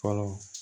Fɔlɔ